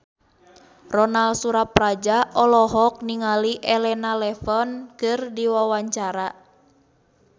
Ronal Surapradja olohok ningali Elena Levon keur diwawancara